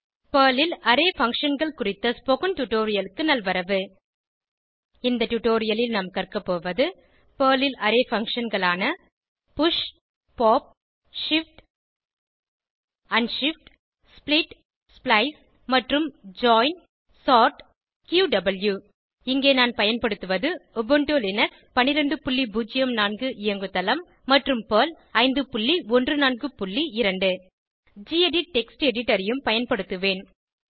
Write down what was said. Perl ல் array Functionகள் குறித்த ஸ்போகன் டுடோரியலுக்கு நல்வரவு இந்த டுடோரியலில் நாம் கற்கபோவது பெர்ல் ல் அரே functionகளான 000011 000010 push pop shift unshift split splice மற்றும் ஜாயின் சோர்ட் க்யூவ் இங்கே நான் பயன்படுத்துவது உபுண்டு லினக்ஸ் 1204 இயங்குதளம் மற்றும் பெர்ல் 5142 கெடிட் டெக்ஸ்ட் எடிட்டர் ஐயும் பயன்படுத்துவேன்